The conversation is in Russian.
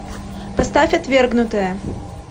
поставь отвергнутые